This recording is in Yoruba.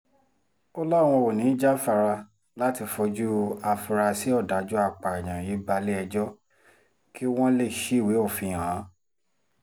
ó láwọn ò ní í jáfara láti fojú àfúráṣí ọ̀dájú apààyàn yìí balẹ̀-ẹjọ́ kí wọ́n lè ṣíwèé òfin hàn án